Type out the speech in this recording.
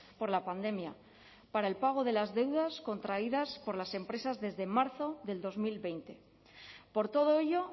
por la pandemia para el pago de las deudas contraídas por las empresas desde marzo del dos mil veinte por todo ello